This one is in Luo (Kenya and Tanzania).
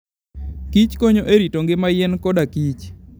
kich konyo e rito ngima yien kodakich.